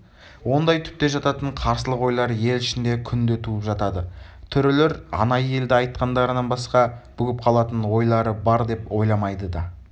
ондай түпте жататын қарсылық ойлар ел ішінде күнде туып жатады төрелер анайы елде айтқандарынан басқа бүгіп қалатын ойлары бар деп ойламайды да